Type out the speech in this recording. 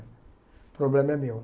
O problema é meu.